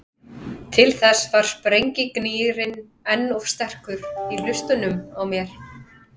Til þess var sprengjugnýrinn enn of sterkur í hlustunum á mér.